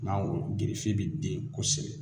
Mangoro gerefe be den kosɛbɛ